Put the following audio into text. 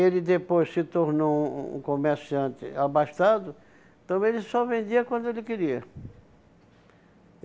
Ele depois se tornou um um comerciante abastado, então ele só vendia quando ele queria.